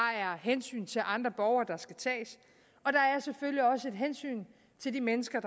hensyn til andre borgere der skal tages og hensyn til de mennesker